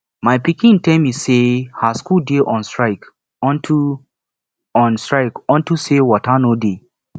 my pikin tell me say her school dey on strike unto on strike unto say water no dey